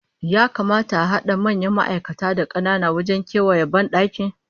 Ya kamata a hada manyan ma'aikata da kanana wajen kewayawa bandaki?